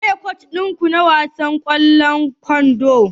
Waye kocin ku na wasan ƙwallon kwando?